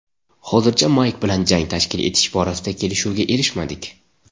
Hozircha Mayk bilan jang tashkil etish borasida kelishuvga erishmadik.